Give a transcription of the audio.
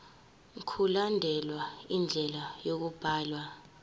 mkulandelwe indlela yokubhalwa